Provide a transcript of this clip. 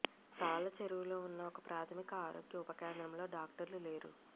తాళ్ళచెరువులో ఉన్న ఒక ప్రాథమిక ఆరోగ్య ఉప కేంద్రంలో డాక్టర్లు లేరు